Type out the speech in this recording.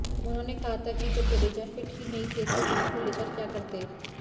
उन्होंने कहा था कि जब जडेजा फिट ही नहीं थे तो उनको लेकर क्या करते